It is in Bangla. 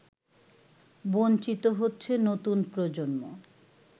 বঞ্চিত হচ্ছে নতুন প্রজন্ম